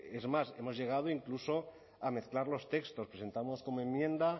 es más hemos llegado incluso a mezclar los textos presentamos como enmienda